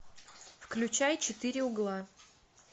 включай четыре угла